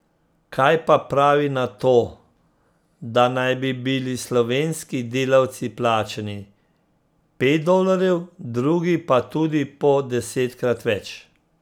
Kaj pa pravi na to, da naj bi bili slovenski delavci plačani pet dolarjev, drugi pa tudi po desetkrat več?